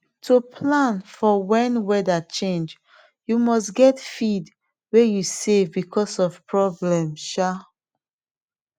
to plan for when weather change you must get feed way u save because of problem um